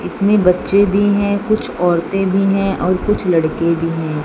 इसमें बच्चे भी हैं कुछ औरतें भी हैं और कुछ लड़के भी हैं।